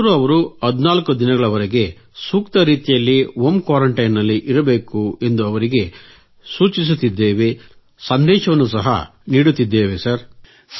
ಆದರೂ ಅವರು 14 ದಿನಗಳವರೆಗೆ ಸೂಕ್ತ ರೀತಿಯಲ್ಲಿ ಹೋಂ ಕ್ವಾರೆಂಟೈನ್ ನಲ್ಲಿ ಇರಬೇಕು ಎಂದು ಅವರಿಗೆ ಸೂಚಿಸುತ್ತಿದ್ದೇವೆ ಸಂದೇಶ ನೀಡುತ್ತಿದ್ದೇವೆ ಸರ್